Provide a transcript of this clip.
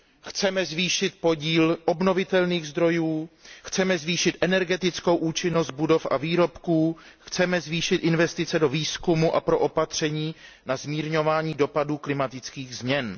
Chceme zvýšit podíl obnovitelných zdrojů, chceme zvýšit energetickou účinnost budov a výrobků, chceme zvýšit investice do výzkumu a do opatření na zmírňování dopadů klimatických změn.